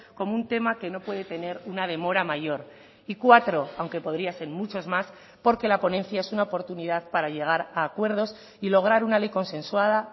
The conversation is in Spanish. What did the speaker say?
como un tema que no puede tener una demora mayor y cuatro aunque podría ser muchos más porque la ponencia es una oportunidad para llegar a acuerdos y lograr una ley consensuada